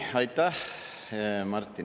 Aitäh, Martin!